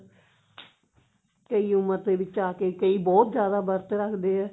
ਕਈ ਉਮਰ ਦੇ ਵਿੱਚ ਆ ਕਿ ਕਈ ਬਹੁਤ ਜਿਆਦਾ ਵਰਤ ਰੱਖਦੇ ਆ